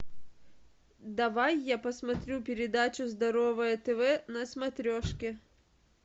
давай я посмотрю передачу здоровое тв на смотрешке